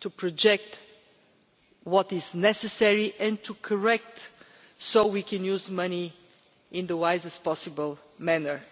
to project what is necessary and to correct our course so we can use money in the wisest possible manner.